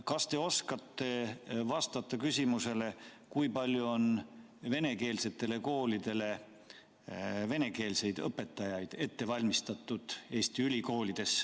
Kas te oskate vastata küsimusele, kui palju on Eesti ülikoolides venekeelsetele koolidele venekeelseid õpetajaid ette valmistatud?